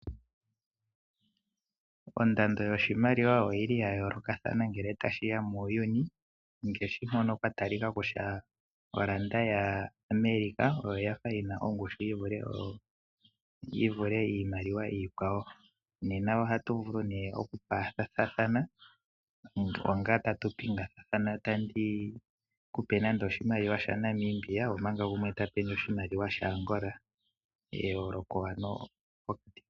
Ondando yoshimaliwa oyi li ya yoolokathana ngele tashi ya muuyuni, ngaashinmono kwa talika nokutya omdola ya America oyafa yi na ongushu yi vule iimaliwa iikwawo. Nena ohatu vulu nee okupathathana onga tatu pingathana, tandi ku pe nande oshimaliwa sha Namibia omanga gumwe ta pendje oshimaliwa sha Angola.